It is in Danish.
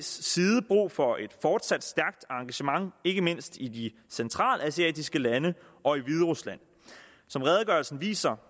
side brug for et fortsat stærkt engagement ikke mindst i de centralasiatiske lande og i hviderusland som redegørelsen viser